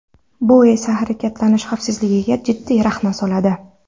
Bu esa harakatlanish xavfsizligiga jiddiy rahna soladi.